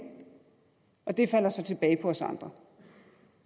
og det falder så tilbage på os andre